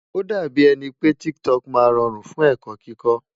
Ó dàbí ẹni pé TikTok máa rọrùn fún ẹ̀kọ́ kíkó.